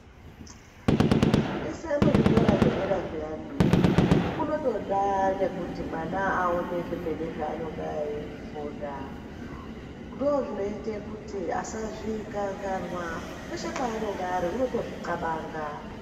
Kufundise muzvikora zvedera zviyani kunotoda nekuti mwana aone zvemene zvaanenge eifunda. Ndoozvinoite kuti asazvikanganwa. Peshe paanonga ari unotozvixabanga.